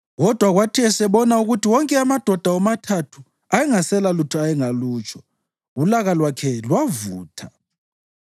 Kodwa kwathi esebona ukuthi wonke amadoda womathathu ayengaselalutho ayengalutsho, ulaka lwakhe lwavutha.